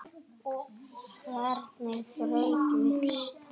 Hvernig brauð viltu?